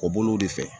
Kɔ bolow de fɛ